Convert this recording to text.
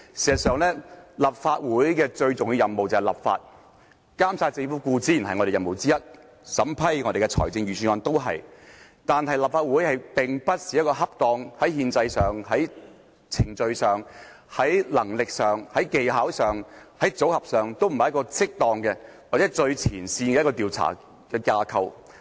事實上，立法會最重要的任務是立法，監察政府固然是我們的任務之一，審批財政預算案也是，但立法會並非一個在憲制上、程序上、能力上、技巧上和組合上最適當或最前線的調查架構。